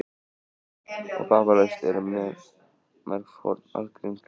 Og vafalaust eru mörg forn algrím gleymd.